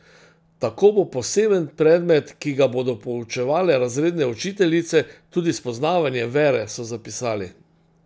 Tako bo poseben predmet, ki ga bodo poučevale razredne učiteljice, tudi spoznavanje vere, so zapisali.